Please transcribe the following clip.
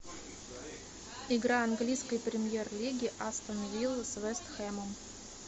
игра английской премьер лиги астон виллы с вест хэмом